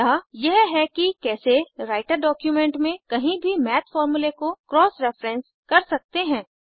अतः यह है कि कैसे राइटर डॉक्यूमेंट में कहीं भी मैथ फॉर्मूले को क्रॉस रेफेरेंस कर सकते हैं